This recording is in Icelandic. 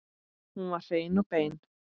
Hún var hrein og bein.